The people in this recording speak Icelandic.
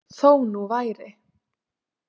Þó nú væri.